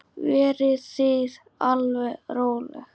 Verið þið alveg róleg.